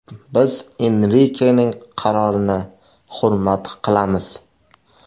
Biz Enrikening qarorini hurmat qilamiz.